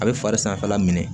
A bɛ fari sanfɛla minɛ